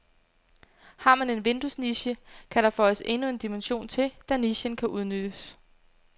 Har man en vinduesniche, kan der føjes endnu en dimension til, da nichen kan udnyttes.